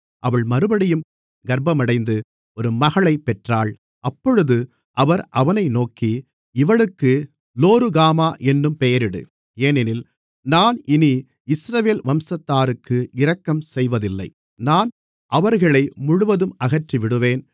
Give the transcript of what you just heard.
அவள் மறுபடியும் கர்ப்பமடைந்து ஒரு மகளைப் பெற்றாள் அப்பொழுது அவர் அவனை நோக்கி இவளுக்கு லோருகாமா என்னும் பெயரிடு ஏனெனில் நான் இனி இஸ்ரவேல் வம்சத்தாருக்கு இரக்கம் செய்வதில்லை நான் அவர்களை முழுவதும் அகற்றிவிடுவேன்